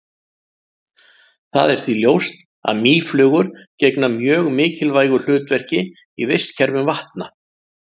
Það er því ljóst að mýflugur gegna mjög mikilvægu hlutverki í vistkerfum vatna.